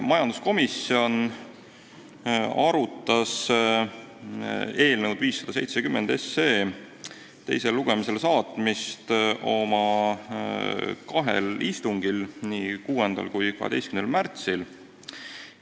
Majanduskomisjon arutas eelnõu 570 teisele lugemisele saatmist oma kahel istungil, nii 6. kui 12. märtsil.